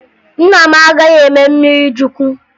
Nna m agaghị eme mmirichukwu